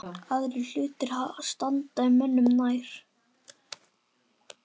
Aðrir hlutir standi mönnum nær.